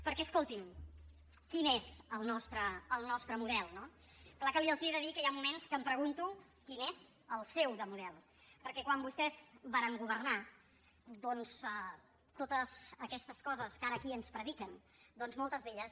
perquè escoltin quin és el nostre model no clar que els he de dir que hi ha moments que em pregunto quin és el seu de model perquè quan vostès varen governar doncs totes aquestes coses que ara aquí ens prediquen moltes d’elles